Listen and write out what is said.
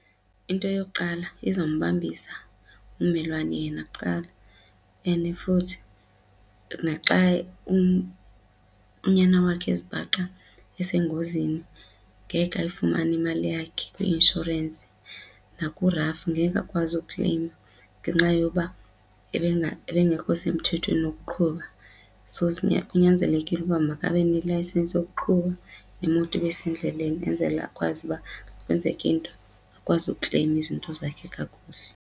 Into yokuqala izombambisa ummelwane yena kuqala and futhi naxa unyana wakhe ezibhaqa esengozini ngeke ayifumane imali yakhe kwi-inshorensi nakuRAF ngeke akwazi ukukleyima ngenxa yoba ebengekho semthethweni wokuqhuba. So, kunyanzelekile ukuba makabe nelayisenisi yokuqhuba nemoto besendleleni enzele akwazi uba kwenzeka into akwazi ukukleyima izinto zakhe kakuhle.